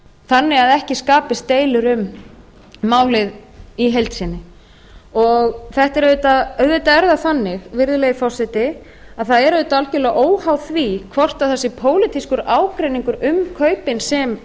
þannig að ekki skapist deilur um málið í heild sinni auðvitað er það þannig virðulegi forseti að það er auðvitað algjörlega óháð því hvort það sé pólitískur ágreiningur um kaupin sem